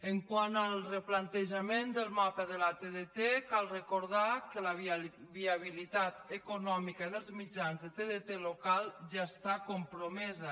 quant al replantejament del mapa de la tdt cal recordar que la viabilitat econòmica dels mitjans de tdt local ja està compromesa